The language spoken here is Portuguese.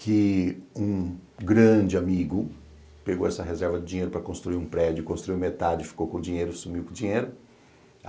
que um grande amigo pegou essa reserva de dinheiro para construir um prédio, construiu metade, ficou com o dinheiro, sumiu com o dinheiro.